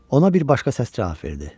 Ona bir başqa səs cavab verdi.